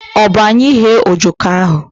Ọ bụ anyị ghee ojoko ahụ?